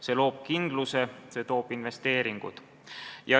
See loob kindluse, see toob investeeringuid.